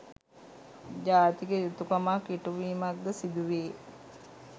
ජාතික යුතුකමක්‌ ඉටු වීමක්‌ද සිදුවේ.